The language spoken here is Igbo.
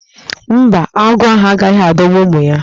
Mba, agụ́ ahụ agaghị adọgbu ụmụ ya.